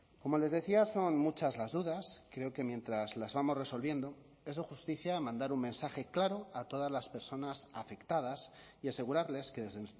como les decía son muchas las dudas creo que mientras las vamos resolviendo es de justicia mandar un mensaje claro a todas las personas afectadas y asegurarles que desde